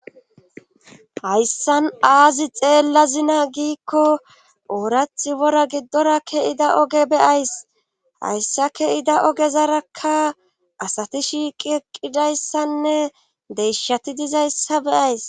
Hayssan aazi xeella zina giikko oorathi wora giddora ke'ida oge beyays hayssa ke ida oge zarakka asati shiiqieqqidayssanne deishati dizayssa beays.